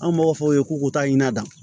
An b'a fɔ o ye k'u taa ɲina dɔn